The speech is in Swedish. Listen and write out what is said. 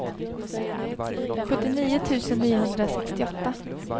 sjuttionio tusen niohundrasextioåtta